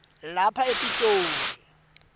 lapha e pitoli